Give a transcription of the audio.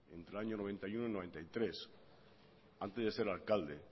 entre el año noventa y uno y noventa y tres antes de ser alcalde